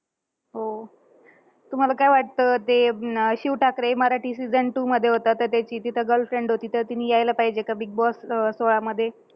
हो. तुम्हांला काय वाटतं? ते अं शिव ठाकरे मराठी season two मध्ये होता, तर त्याची तिथं girlfriend होती. तर तिने यायला पाहिजे का बिगबॉस अं सोळामध्ये.